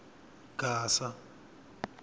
gasa